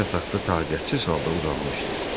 Qoca yataqda taqətsiz halda uzanmışdı.